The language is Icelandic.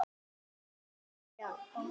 Hvað skal segja?